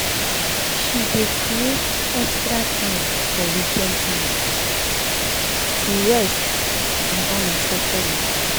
she dey creat extra time for weekend time for weekend to rest and unexpected waka.